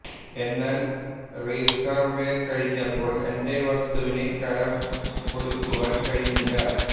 എന്നാൽ റീസർവെ കഴിഞ്ഞപ്പോൾ എന്റെ വസ്തുവിന് കരം ഒടുക്കുവാൻ കഴിഞ്ഞില്ല